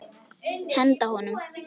Henda honum?